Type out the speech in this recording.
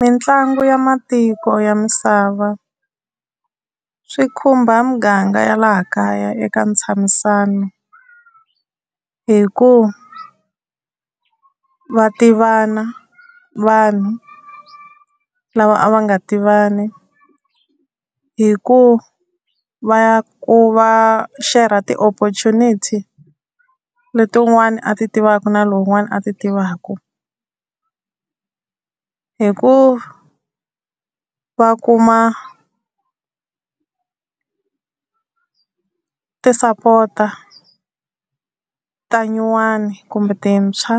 Mitlangu ya matiko ya misava, swi khumba muganga ya laha kaya eka ntshamisano hi ku va tivana vanhu lava a va nga tivani. Hi ku va ku va share-ra ti-oppprtunity leti un'wana a ti tivaka na lowun'wana a ti tivaka. Hi ku va kuma tisapota ta nyuwani kumbe tintshwa